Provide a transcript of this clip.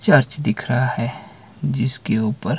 church दिख रहा है जिसके ऊपर--